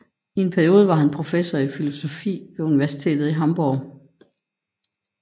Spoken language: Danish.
I en periode var han professor i filosofi ved universitetet i Hamburg